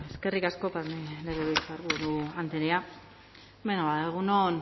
eskerrik asko legebiltzarburu andrea beno ba egun on